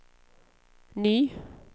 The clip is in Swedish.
ny